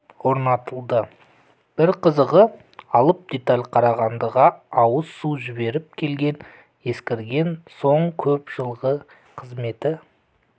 орнатылды бір қызығы алып деталь қарағандыға ауыз су жіберіп келген ескірген соң көп жылғы қызметі